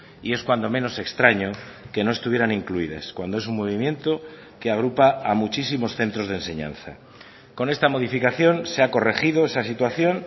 y es cuando menos extraño que no estuvieran incluidas cuando es un movimiento que agrupa a muchísimos centros de enseñanza con esta modificación se ha corregido esa situación